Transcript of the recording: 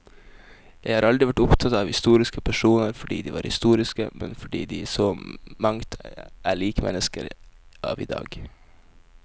Jeg har aldri vært opptatt av historiske personer fordi de var historiske, men fordi de i så mangt er lik mennesker av i dag.